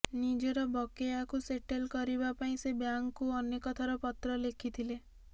ନିଜର ବକେୟାକୁ ସେଟେଲ କରିବା ପାଇଁ ସେ ବ୍ୟାଙ୍କକୁ ଅନେକ ଥର ପତ୍ର ଲେଖିଥିଲେ